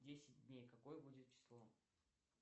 десять дней какое будет число